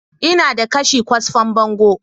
Ina da kashe kwasfan bango